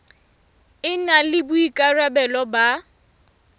e na le boikarabelo ba